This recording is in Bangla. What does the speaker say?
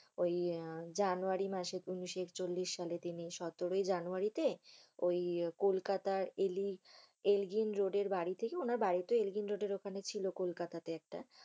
ঐ আহ জানুয়ারি মাসে উনিশ একচল্লিশ সাল। তিনি সতেরোই জানুয়ারি তিনি ঐ কলকাতার এলি~এলজিন রোডের বাড়িতে ।উনার বাড়িত এলজি রোডের ওখানে ছিল কলকাতাতে একটা।